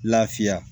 Lafiya